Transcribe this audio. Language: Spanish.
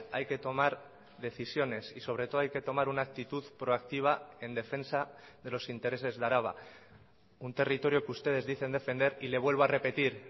hay que tomar decisiones y sobre todo hay que tomar una actitud proactiva en defensa de los intereses de araba un territorio que ustedes dicen defender y le vuelvo a repetir